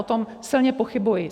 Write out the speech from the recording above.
O tom silně pochybuji.